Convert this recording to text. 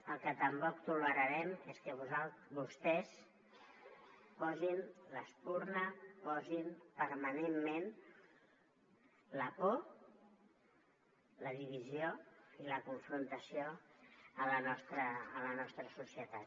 el que tampoc tolerarem és que vostès posin l’espurna posin permanentment la por la divisió i la confrontació a la nostra societat